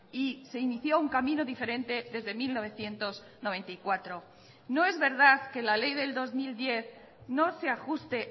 y se inició un camino diferente desde mil novecientos noventa y cuatro no es verdad que la ley del dos mil diez no se ajuste